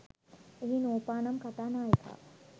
එහි නූපා නම් කතා නායිකාව